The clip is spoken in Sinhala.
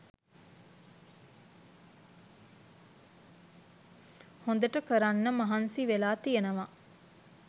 හොදට කරන්න මහන්සිවෙලා තියෙනව.